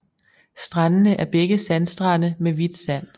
Strandene er begge sandstrande med hvidt sand